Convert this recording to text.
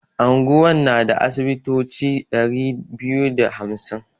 Anguwan na da asibitoci ɗari biyu da hamsin.